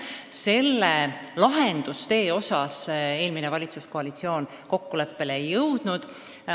Selle lahendustee osas eelmine valitsuskoalitsioon kokkuleppele ei jõudnud.